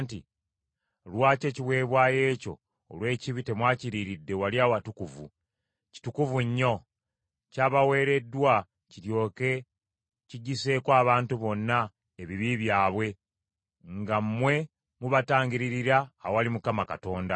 “Lwaki ekiweebwayo ekyo olw’ekibi temwakiriiridde, wali awatukuvu? Kitukuvu nnyo. Kyabaweereddwa kiryoke kiggyiseeko abantu bonna ebibi byabwe, nga mmwe mubatangiririra awali Mukama Katonda.